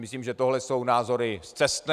Myslím, že tohle jsou názory scestné.